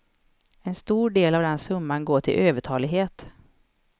En stor del av den summan går till övertalighet.